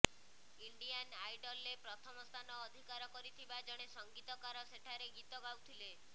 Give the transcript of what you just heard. Indian ଆଇଡଲରେ ପ୍ରଥମ ସ୍ଥାନ ଅଧିକାର କରିଥିବା ଜଣେ ସଂଗୀତକାର ସେଠାରେ ଗିତ ଗାଉଥିଲେ